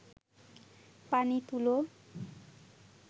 পানি তুলো